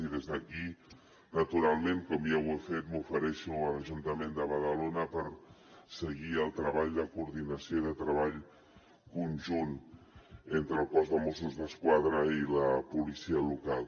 i des d’aquí naturalment com ja ho he fet m’ofereixo a l’ajuntament de badalona per seguir el treball de coordinació i de treball conjunt entre el cos de mossos d’esquadra i la policia local